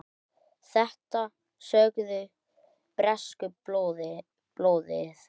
Þetta sögðu bresku blöðin.